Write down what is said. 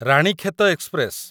Ranikhet express